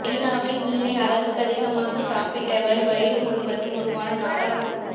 சீனாவில் மீனை அளவுக்கதிகமாக சாப்பிட்டவர் வயிறு முழுவதும் உருவான நாடா புழு